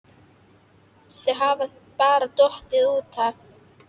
Þau hafa bara dottið út af